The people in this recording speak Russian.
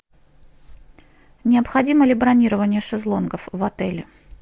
необходимо ли бронирование шезлонгов в отеле